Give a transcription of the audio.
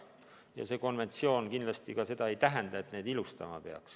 Ja see konventsioon seda kindlasti ka ei tähenda, et neid peaks ilustama.